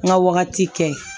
N ka wagati kɛ